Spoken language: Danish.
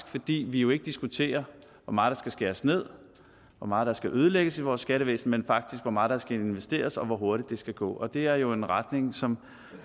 fordi vi jo ikke diskuterer hvor meget der skal skæres ned hvor meget der skal ødelægges i vores skattevæsen men faktisk hvor meget der skal investeres og hvor hurtigt det skal gå og det er jo en retning som